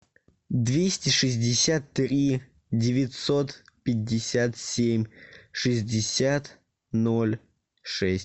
двести шестьдесят три девятьсот пятьдесят семь шестьдесят ноль шесть